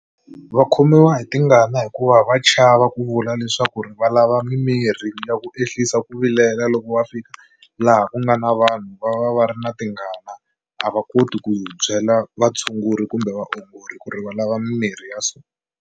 Va khomiwa hi tingana hikuva va chava ku vula leswaku ri va lava mimirhi ya ku ehlisa ku vilela loko va fika laha ku nga na vanhu va va va ri na tingana a va koti ku byela vatshunguri kumbe vaongori ku ri va lava mimirhi ya so.